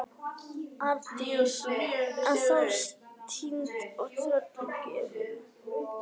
Arndís ennþá týnd og tröllum gefin.